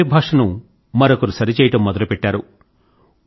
ఒకరి భాషను మరొకరు సరిచేయడం మొదలు పెట్టారు